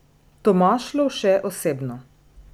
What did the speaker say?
Tomaž Lovše osebno.